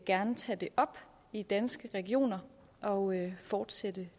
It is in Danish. gerne tage det op i danske regioner og fortsætte